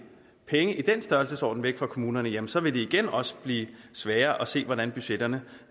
penge i den størrelsesorden væk fra kommunerne jamen så vil det igen også blive sværere at se hvordan budgetterne